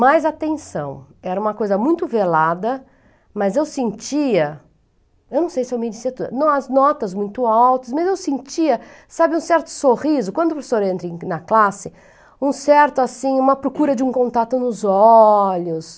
Mas, atenção, era uma coisa muito velada, mas eu sentia, eu não sei se eu me disse tudo, as notas muito altas, mas eu sentia, sabe, um certo sorriso, quando o professor entra na classe, um certo, assim, uma procura de um contato nos olhos.